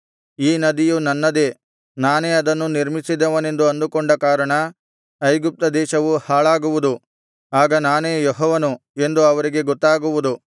ಈ ನದಿಯು ನನ್ನದೇ ನಾನೇ ಅದನ್ನು ನಿರ್ಮಿಸಿದವನೆಂದು ಅಂದುಕೊಂಡ ಕಾರಣ ಐಗುಪ್ತ ದೇಶವು ಹಾಳಾಗುವುದು ಆಗ ನಾನೇ ಯೆಹೋವನು ಎಂದು ಅವರಿಗೆ ಗೊತ್ತಾಗುವುದು